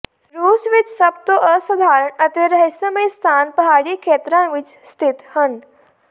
ਰੂਸ ਵਿਚ ਸਭ ਤੋਂ ਅਸਧਾਰਨ ਅਤੇ ਰਹੱਸਮਈ ਸਥਾਨ ਪਹਾੜੀ ਖੇਤਰਾਂ ਵਿਚ ਸਥਿਤ ਹਨ